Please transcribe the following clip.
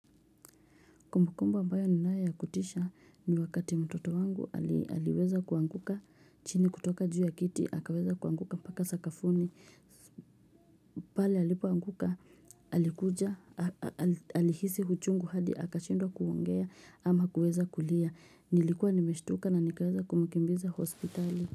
Kumbukumbu ambayo ninayo ya kutisha ni wakati mtoto wangu aliweza kuanguka chini kutoka juu ya kiti. Akaweza kuanguka mpaka sakafuni. Pale alipoanguka. Alikuja. Alihisi uchungu hadi. Akashindwa kuongea ama kuweza kulia. Nilikuwa nimeshtuka na nikaweza kumkimbiza hospitali.